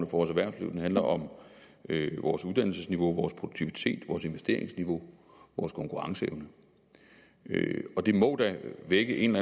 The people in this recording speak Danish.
vores erhvervsliv den handler om vores uddannelsesniveau vores produktivitet vores investeringsniveau vores konkurrenceevne det må da vække en